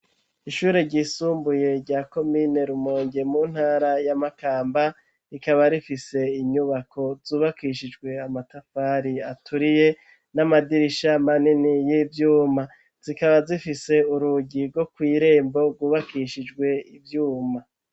Ishure ryisumbuye rya komine rumonge mu ntara ya Makamba rikaba rifise inyubako zubakishijwe amatafari aturiye n'amadirisha manini y'ivyuma zikaba zifise urugi rwo kw'irembo rwubakishijwe ivyuma.